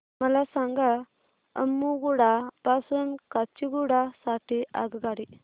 मला सांगा अम्मुगुडा पासून काचीगुडा साठी आगगाडी